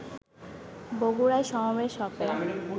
বগুড়ায় সমাবেশ হবে